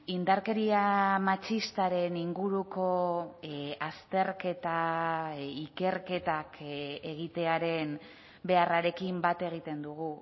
indarkeria matxistaren inguruko azterketa ikerketak egitearen beharrarekin bat egiten dugu